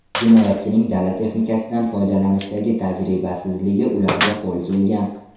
Jinoyatchining dala texnikasidan foydalanishdagi tajribasizligi ularga qo‘l kelgan.